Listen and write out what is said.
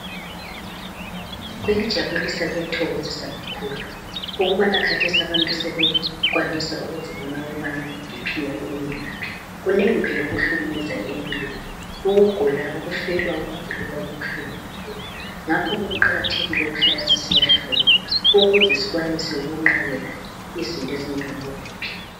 kuyajabulisa kuyathokozisa kakhulu ukubana kathesi abantu sebekwanisa ukubona iBP yabo imi ngaphi kunengi phela okuhlukumezayo empilweni, ukugula ukufelwa ukugulelwa kubuhlungu kakhulu ngakho kuqakathekile ukuhlala sisiya hlolwa ukuze skwanise ukunqabela izinto ezinjengabo B.P.